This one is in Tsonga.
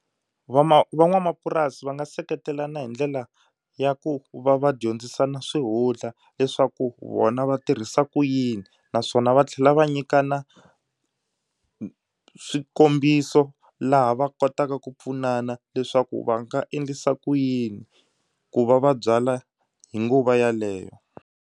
Van'wamapurasi va nga seketelana hi ndlela ya ku va va dyondzisana swihundla leswaku vona va tirhisa ku yini naswona va tlhela va nyikana swikombiso laha va kotaka ku pfunana leswaku va nga endlisa ku yini ku va va byala hi nguva yaleyo.